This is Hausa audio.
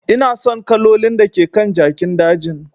Ina son kalolin da ke kan jakin dajin.